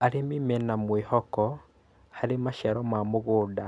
Arĩmi mena mwĩhoko harĩ maciaro ma mũgũnda